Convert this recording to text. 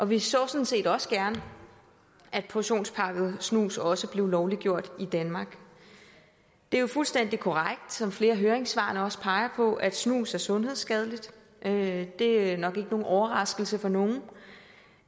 vi så sådan set også gerne at portionspakket snus også blev lovliggjort i danmark det er jo fuldstændig korrekt som flere af høringssvarene også peger på at snus er sundhedsskadeligt det er nok ikke nogen overraskelse for nogen